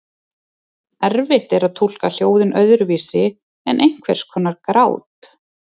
Erfitt er að túlka hljóðin öðruvísi en einhvers konar grát.